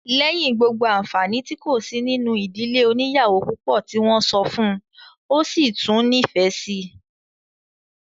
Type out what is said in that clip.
Lẹ́yìn gbogbo àǹfàni tí kò sí nínú ìdílé oníyàwó púpọ̀ tí wọ́n sọ fún un, ó sì tún nífẹ̀ẹ́ síi